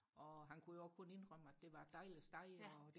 og han kunne jo også kun indrømme at det var et dejligt sted og